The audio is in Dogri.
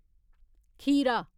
खीरा